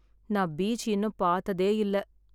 நான் பீச் இன்னும் பாத்ததே இல்லை